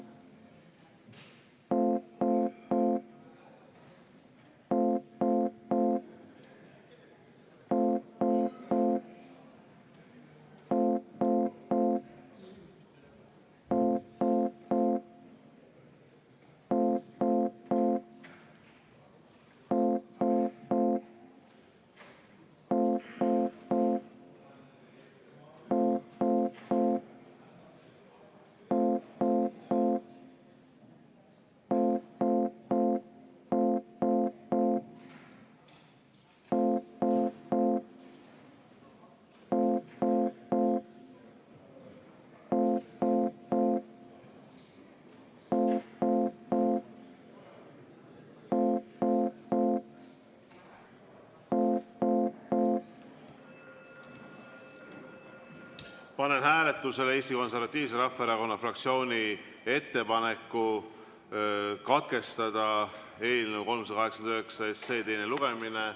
Panen hääletusele Eesti Konservatiivse Rahvaerakonna fraktsiooni ettepaneku katkestada eelnõu 389 teine lugemine.